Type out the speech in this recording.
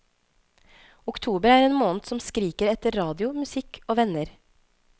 Oktober er en måned som skriker etter radio, musikk og venner.